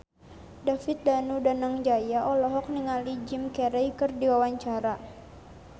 David Danu Danangjaya olohok ningali Jim Carey keur diwawancara